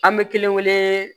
An bɛ kelen kelen